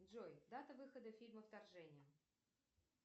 джой дата выхода фильма вторжение